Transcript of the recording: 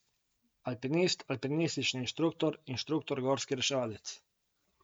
Alpinist, alpinistični inštruktor, inštruktor gorski reševalec.